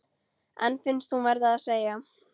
En finnst hún verða að segja